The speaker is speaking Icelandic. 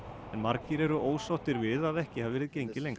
margir eru ósáttir við að ekki hafi verið gengið lengra